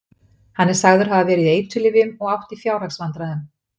Hann er sagður hafa verið í eiturlyfjum og átt í fjárhagsvandræðum.